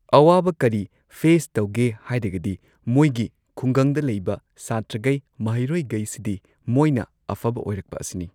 ꯑꯋꯥꯕ ꯀꯔꯤ ꯐꯦꯁ ꯇꯧꯒꯦ ꯍꯥꯏꯔꯒꯗꯤ ꯃꯣꯏꯒꯤ ꯈꯨꯡꯒꯪꯗ ꯂꯩꯕ ꯁꯥꯇ꯭ꯔꯒꯩ ꯃꯍꯩꯔꯣꯏꯒꯩꯁꯤꯗꯤ ꯃꯣꯏꯅ ꯑꯐꯕ ꯑꯣꯏꯔꯛꯄ ꯑꯁꯤꯅꯤ꯫